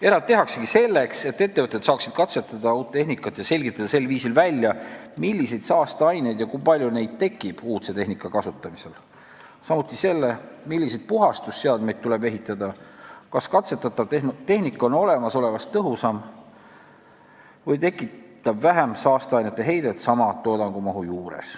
Erand tehaksegi selleks, et ettevõtted saaksid uut tehnikat katsetada ja sel viisil välja selgitada, milliseid ja kui palju saasteaineid tekib uudse tehnika kasutamisel, samuti selle, milliseid puhastusseadmeid tuleb ehitada, ning kas katsetatav tehnika on olemasolevast tõhusam või tekitab sama toodangumahu juures vähem saasteainete heidet.